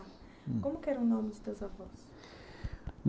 Como que era o nome dos teus avós?